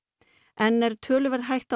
enn er töluverð hætta á